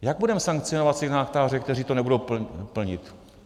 Jak budeme sankcionovat signatáře, kteří to nebudou plnit?